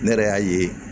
Ne yɛrɛ y'a ye